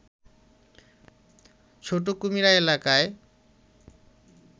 ছোট কুমিরা এলাকায়